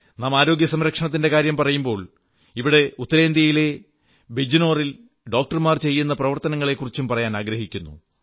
നാം ആരോഗ്യസംരക്ഷണത്തിന്റെ കാര്യം പറയുമ്പോൾ ഇവിടെ ഉത്തരേന്ത്യയിലെ ബിജ്നോറിൽ ഡോക്ടർമാർ ചെയ്യുന്ന പ്രവർത്തനങ്ങളെക്കുറിച്ചും പറയാനാഗ്രഹിക്കുന്നു